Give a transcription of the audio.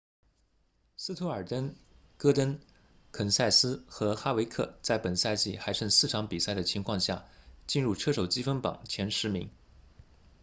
斯图尔特戈登肯塞斯和哈维克在本赛季还剩四场比赛的情况下进入车手积分榜前十名